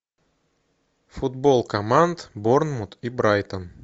футбол команд борнмут и брайтон